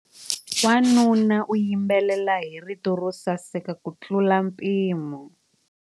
Wanuna u yimbelela hi rito ro saseka kutlula mpimo.